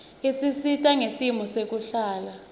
isisita ngesimo sekuhlala